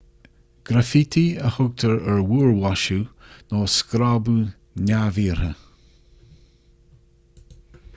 graifítí a thugtar ar mhúrmhaisiú nó ar scrábadh neamhiarrtha